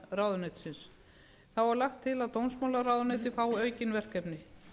fjármálaráðuneytisins þá er lagt til að dómsmálaráðuneytið fái aukin verkefni